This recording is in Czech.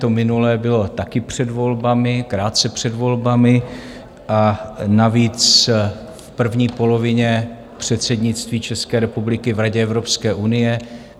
To minulé bylo taky před volbami, krátce před volbami, a navíc v první polovině předsednictví České republiky v Radě Evropské unie.